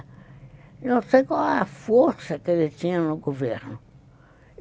Não sei qual a força que ele tinha no governo.